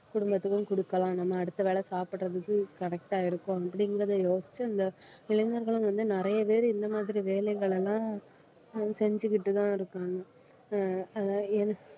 குடும்பத்துக்கும் குடுக்கலாம் நம்ம அடுத்த வேளை சாப்பிடறதுக்கு correct ஆ இருக்கும் அப்படிங்கறதை யோசிச்சு இந்த இளைஞர்களும் வந்து நிறைய பேர் இந்த மாதிரி வேலைகள் எல்லாம் செஞ்சுகிட்டு தான் இருக்காங்க அஹ் அஹ் எ~